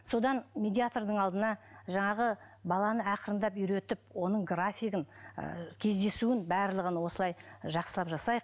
содан медиатрдың алдына жаңағы баланы ақырындап үйретіп оның графигін і кездесуін барлығын осылай жақсылап жасайық